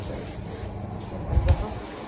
A gente não não tinha muita ligação.